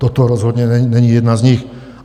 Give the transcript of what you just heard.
Toto rozhodně není jedna z nich.